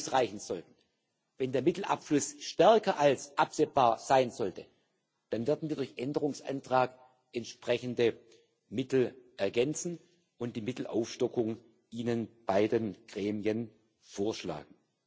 bereitgestellt haben, nicht ausreichen, wenn der Mittelabfluss stärker als absehbar sein sollte, dann werden wir durch Änderungsanträge entsprechende Mittel ergänzen und die Mittelaufstockung Ihren beiden Gremien vorschlagen.